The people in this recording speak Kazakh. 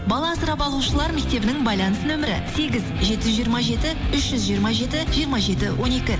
бала асырап алушылар мектебінің байланыс нөмірі сегіз жеті жүз жиырма жеті үш жүз жиырма жеті жиырма жеті он екі